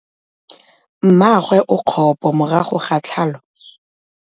Mmagwe o kgapô morago ga tlhalô.